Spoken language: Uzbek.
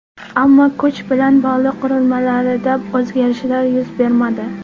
Ammo kuch bilan bog‘liq qurilmalarida o‘zgarishlar yuz bermadi.